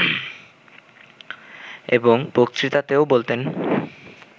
এবং বক্তৃতাতেও বলতেন